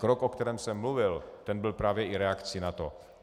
Krok, o kterém jsem mluvil, ten byl právě i reakcí na to.